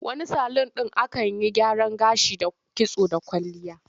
Wani salun ɗin akan yi gyaran gashi da kitso da kwalliya.